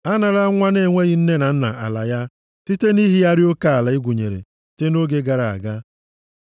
Anarala nwa na-enweghị nne na nna ala ya site nʼihigharị oke ala e gwunyere site nʼoge gara aga,